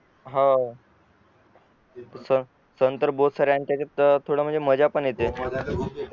हवं मझ्या पण येते